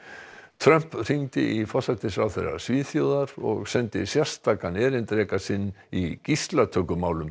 Trump hringdi í forsætisráðherra Svíþjóðar vegna og sendi sérstakan erindreka sinn í